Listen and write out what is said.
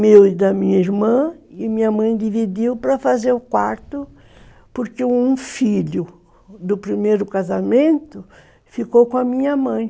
meu e da minha irmã, e minha mãe dividiu para fazer o quarto, porque um filho do primeiro casamento ficou com a minha mãe.